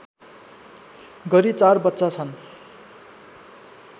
गरी ४ बच्चा छन्